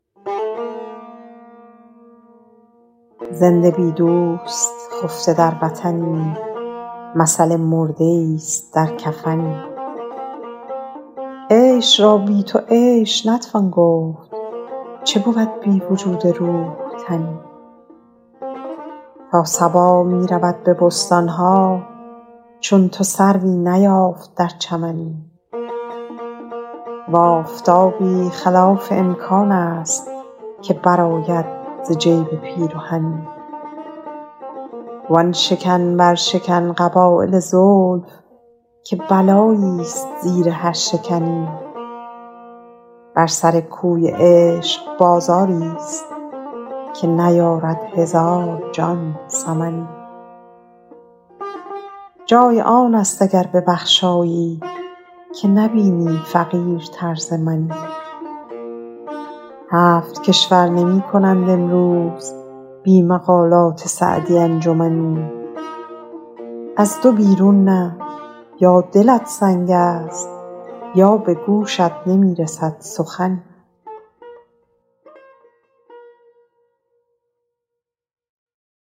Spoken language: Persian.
زنده بی دوست خفته در وطنی مثل مرده ایست در کفنی عیش را بی تو عیش نتوان گفت چه بود بی وجود روح تنی تا صبا می رود به بستان ها چون تو سروی نیافت در چمنی و آفتابی خلاف امکان است که برآید ز جیب پیرهنی وآن شکن برشکن قبایل زلف که بلاییست زیر هر شکنی بر سر کوی عشق بازاریست که نیارد هزار جان ثمنی جای آن است اگر ببخشایی که نبینی فقیرتر ز منی هفت کشور نمی کنند امروز بی مقالات سعدی انجمنی از دو بیرون نه یا دلت سنگیست یا به گوشت نمی رسد سخنی